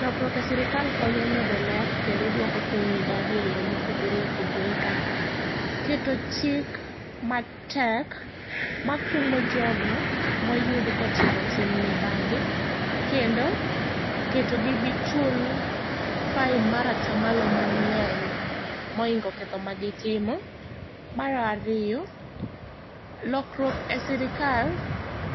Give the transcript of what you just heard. Lokruok e sirkal konyo medo ler kendo duoko piny mibadhi e yore ma opogore opogore kaka keto chik matek makumo jogo moyud kotimo tim mibadhi kendo keto gi gichul fine mar atamalo mangeny moingo ketho magitimo. Mar ariyo, lokruok e sirkal